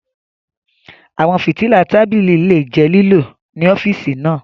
Àwọn fìtílà tábìlì lè jẹ́ lílò ní ọ́fíìsì náà.